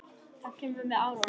Það kemur með árunum.